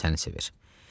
O da səni sevir.